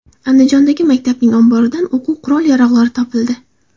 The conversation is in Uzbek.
Andijondagi maktabning omboridan o‘quv qurol-yarog‘lari topildi.